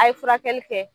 A' ye furakɛli kɛ